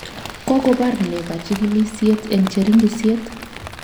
Kokobar ne kachigilishet eng cheringisyet?